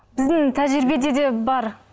біздің тәжірибеде де бар